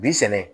Bi sɛnɛ